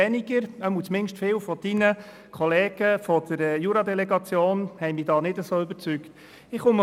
Jedenfalls haben mich viele Ihrer Kollegen aus der Jura-Delegation nicht wirklich überzeugen können.